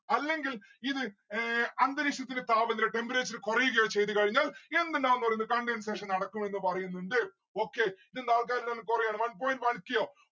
അല്ലെങ്കിൽ ഇത് ഏർ അന്തരീക്ഷത്തിന് താപനില temperature കൊറയുകയോ ചെയ്ത കഴിഞ്ഞാൽ എന്ത് ഇണ്ടാവും ന്ന്‌ പറിയുന്നത് condensation നടക്കുമെന്ന് പറയുന്നുണ്ട് okay ഇതിന്ന് ആൾക്കാർ കൊറയാണ് one point one k യോ